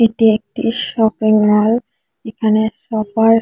এটি একটি shopping mall এখানে সপার --